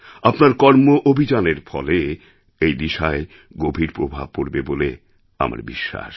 আপনার কর্মঅভিযানের ফলে এই দিশায় গভীর প্রভাব পড়বে বলে আমার বিশ্বাস